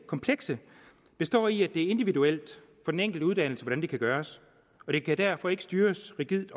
komplekse består i at det er individuelt for den enkelte uddannelse hvordan det kan gøres og det kan derfor ikke styres rigidt